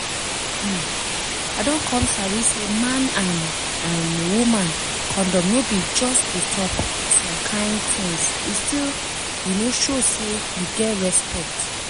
um i don come sabi say man and um woman condom no be just to stop some kain tins e still um show say you get respect